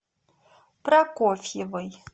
прокофьевой